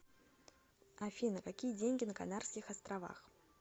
афина какие деньги на канарских островах